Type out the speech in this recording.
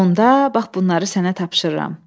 Onda bax bunları sənə tapşırıram.